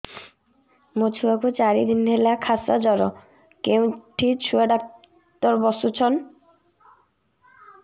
ମୋ ଛୁଆ କୁ ଚାରି ଦିନ ହେଲା ଖାସ ଜର କେଉଁଠି ଛୁଆ ଡାକ୍ତର ଵସ୍ଛନ୍